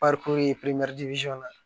na